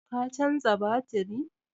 Ka canza batiri?